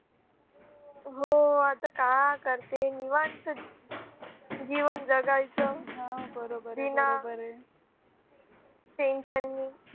हो आता काय करते निवांत जीवन जगायचं बिना tension नि